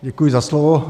Děkuji za slovo.